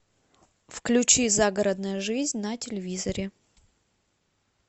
включи загородная жизнь на телевизоре